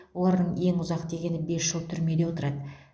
олардың ең ұзақ дегені бес жыл түрмеде отырады